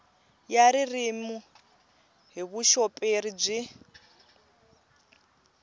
ya ririmi hi vuxoperi byi